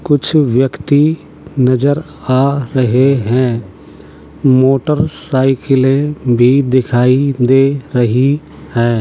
कुछ व्यक्ति नजर आ रहे हैं मोटरसाइकिले भी दिखाई दे रही हैं ।